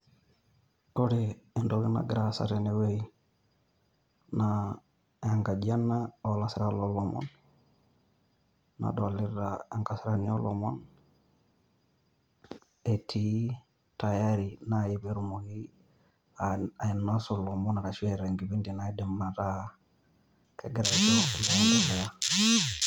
Kore entoki nagira aasa tene wueji naa enkaji ena oo lasirak loo lomon. Nadolita enkasirani oo lomon etii tayari naaji pee etumoki ainosun ilomon ashu eeta enkipindi naidim ataa kegira ajo pee eendelea.